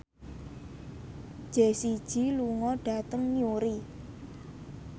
Jessie J lunga dhateng Newry